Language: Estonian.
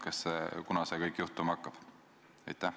Kunas see kõik juhtuma hakkab?